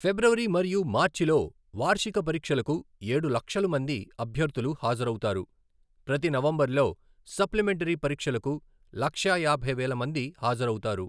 ఫిబ్రవరి మరియు మార్చిలో వార్షిక పరీక్షలకు ఏడు లక్షలు మంది అభ్యర్థులు హాజరవుతారు, ప్రతి నవంబర్లో సప్లిమెంటరీ పరీక్షలకు లక్షా యాభై వేల మంది హాజరవుతారు.